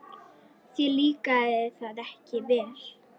Þér líkaði það ekki vel.